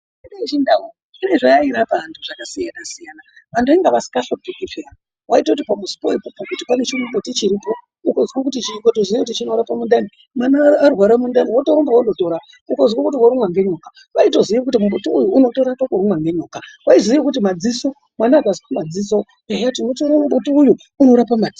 Mitombo yechindau ine zvayairapa antu zvakasiyana siyana. Antu vanga vasingahlupiki peyani. Waitoti pamuzi pane chimuti chiripo ukatoziya kuti chinorapa mundani, mwana arwara mundani wotorumba wotootora. Ukazwe kuti warumwa ngenyoka vaitoziya kuti mbuti uyu unorapa kurumwa ngenyoka. Vakaziye kuti madziso mwana akazwe madziso ehe tinotora mbuti uyu unorape madziso.